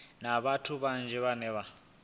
na vhathu vhanzhi vhane vha